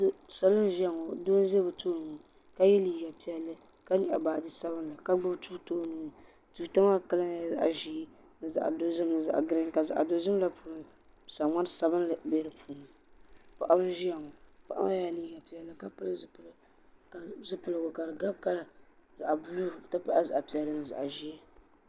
salo n ʒiya ŋɔ bia n ʒi bi tooni ka yɛ liiga piɛlli ka nyaɣa baaji sabinli ka gbubi tuuta o nuuni tuuta maa kala nyɛla zaɣ ʒiɛ ni zaɣ dozim ni zaɣ giriin ka sa ŋmari sbinli bɛ di puuni paɣa n ʒiya ŋɔ paɣa maa yɛla liiga piɛlli ka pili zipiligu ka di gabi kala zaɣ buluu n ti pahi zaɣ piɛlli ni zaɣ ʒiɛ